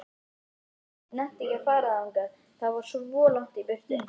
Nonni nennti ekki að fara þangað, það var svo langt í burtu.